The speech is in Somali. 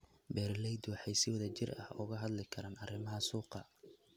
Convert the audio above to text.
Beeraleydu waxay si wadajir ah uga wada hadli karaan arrimaha suuqa.